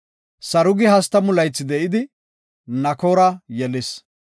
Sarugi 30 laythi de7idi, Nakoora yelis.